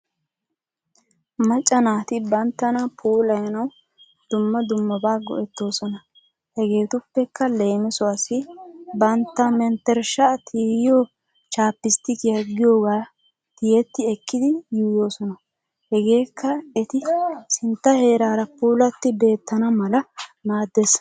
Macha naatti banttana puulayanawu dumma dummabaa go'etoosona. Hegeetuppekka leemisuwaasi bantta menttershshaa tiyiyoo chaapastikiyaa giyoogaa tiyetti ekkidi yuuyoosona hegeekka eti sinttaa heeraara puulatti beetana mala maades.